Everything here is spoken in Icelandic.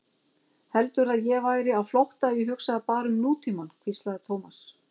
Heldurðu að ég væri á flótta ef ég hugsaði bara um nútímann? hvíslaði Thomas.